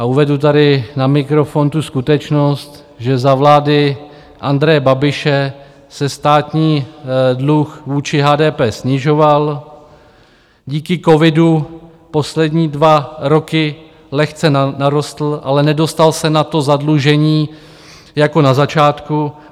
A uvedu tady na mikrofon tu skutečnost, že za vlády Andreje Babiše se státní dluh vůči HDP snižoval, díky covidu poslední dva roky lehce narostl, ale nedostal se na to zadlužení jako na začátku.